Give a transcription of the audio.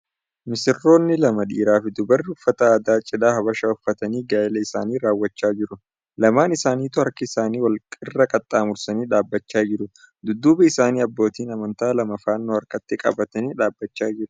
Misirroonni lama dhiirri fi dubarri uffata aadaa cidhaa Habashaa uffatanii gaa'ila isaanii raawwachaa jiru. Lamaan isaanituu harka isaanii wal irra qaxxaamursanii dhaabbachaa jiru. Dudduuba isaanii abbootiin amantaa lama fannoo harkatti qabatanii dhaabbachaa jiru.